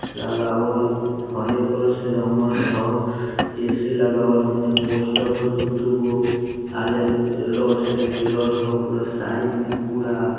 लगावल हरियर कलर से रंगल हउ। ए_सी लगावल हउ होने पोस्टर हउ दू-दू गो | आरी-आरी रोड से घेरल हउ पूरा साइड में पूरा ।